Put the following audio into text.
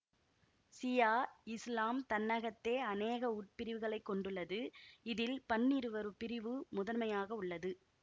சியா இசுலாம் தன்னகத்தே அனேக உட்பிரிவுகளை கொண்டுள்ளது இதில் பன்னிருவர் பிரிவு முதன்மையாக உள்ளது